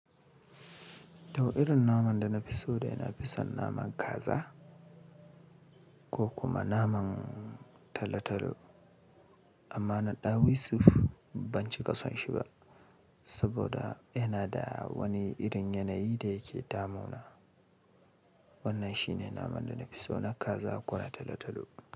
Tau irin naman da na fi so dai na fi son naman kaza ko kuma naman talotalo. Amma na ɗawisu ban cika son shi ba saboda yana da wani irin yanayi da yake tamona. Wannan shi ne naman da na fi so, na kaza ko na talotalo.